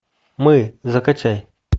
мы закачай